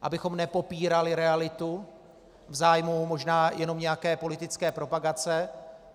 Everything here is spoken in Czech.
Abychom nepopírali realitu v zájmu možná jenom nějaké politické propagace.